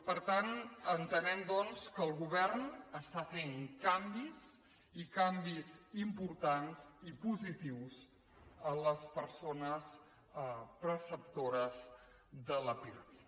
per tant entenem doncs que el govern està fent canvis i canvis importants i positius en les persones perceptores del pirmi